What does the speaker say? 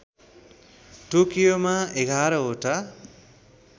टोकियोमा एघारवटा